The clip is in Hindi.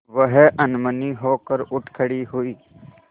वह अनमनी होकर उठ खड़ी हुई